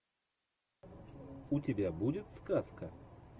у тебя будет сказка